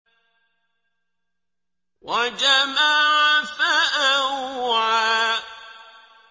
وَجَمَعَ فَأَوْعَىٰ